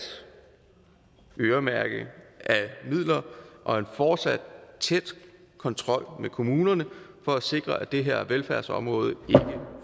at øremærke midler og en fortsat tæt kontrol med kommunerne for at sikre at det her velfærdsområde ikke